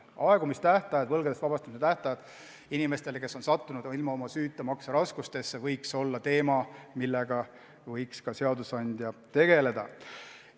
Aegumistähtajad ja võlgadest vabastamise tähtajad inimestele, kes on sattunud ilma oma süüta makseraskustesse, võiks olla teema, millega võiks ka seadusandja tegeleda.